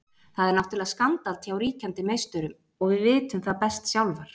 Það er náttúrulega skandall hjá ríkjandi meisturum og við vitum það best sjálfar.